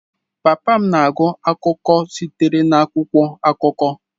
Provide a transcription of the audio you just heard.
Papa m na-agụ akụkọ sitere n'akwụkwọ akụkọ.